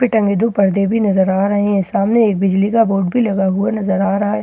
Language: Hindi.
टंगे दो पर्दे भी नजर आ रहे हैं सामने एक बिजली का बोर्ड भी लगा हुआ नजर आ रहा है और --